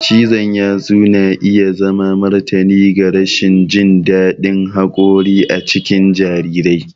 Cizon yatsu na iya zama martani ga rashin jin daɗin haƙori a cikin jarirai.